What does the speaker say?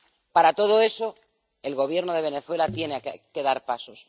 Para todo eso, el Gobierno de Venezuela tiene que dar pasos